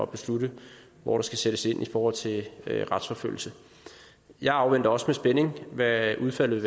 beslutte hvor der skal sættes ind i forhold til retsforfølgelse jeg afventer også med spænding hvad udfaldet